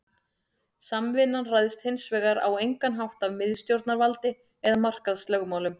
Samvinnan ræðst hins vegar á engan hátt af miðstjórnarvaldi eða markaðslögmálum.